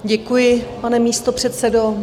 Děkuji, pane místopředsedo.